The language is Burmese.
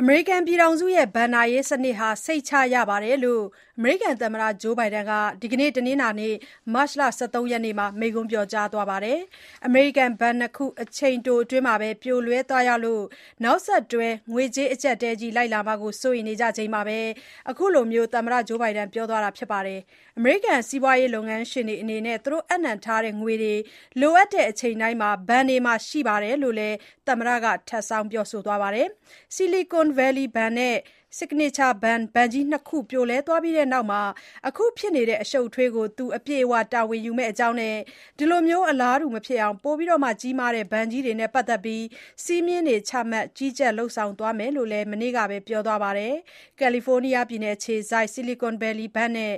အမေရိကန်ပြည်ထောင်စုရဲ့ ဘဏ္ဍာရေးစနစ်ဟာ စိတ်ချရပါတယ်လို့ သမ္မတ ဂျိုးဘိုင်ဒန်က တနင်္လာနေ့ မတ်လ ၁၃ ရက်နေ့ကပဲ ပြောကြားသွားပါတယ်။ အမေရိကန် ဘဏ် ၂ ခု အချိန်တိုအတွင်း ပြိုလဲသွားရလို့ နောက်ဆက်တွဲ ငွေကြေးအကြပ်အတည်းကြီးလိုက်လာမှာ စိုးရိမ်နေကြချိန်မှာ အခုလို သမ္မတက ပြောသွားတာပါ။ အမေရိကန် စီးပွားရေးလုပ်ငန်းရှင်တွေအနေနဲ့ သူတို့ အပ်နှံထားတဲ့ငွေတွေ လိုအပ်တဲ့အချိန်တိုင်း ဘဏ်တွေမှာ ရှိနေတယ်ဆိုတာလည်း သမ္မတက ထပ်ပြီးပြောသွားပါတယ်။ Silicon Valley Bank နဲ့ Signature Bank ဘဏ်ကြီးနှစ်ခု ပြိုလဲသွားပြီးနောက် အခုဖြစ်နေတဲ့ အရှုပ်အထွေးကို သူအပြည့်အဝ တာဝန်ယူမယ့်အကြောင်းနဲ့ ဒီလို အလားတူ မဖြစ်အောင် ပိုမိုကြီးမားတဲ့ ဘဏ်ကြီးတွေနဲ့ ပတ်သက်ပြီး စည်းမျဉ်းတွေ ချမှတ်၊ ကြီးကြပ် လုပ်ဆောင်သွားမယ် လို့လည်း မနေ့ကပဲ ပြောသွားပါတယ်။ ကယ်လီဖိုးနီးယားအခြေစိုက် Silicon Valley Bank နဲ့